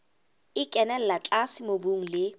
e kenella tlase mobung le